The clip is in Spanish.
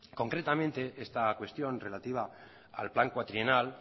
concretamente esta cuestión relativa al plan cuatrienal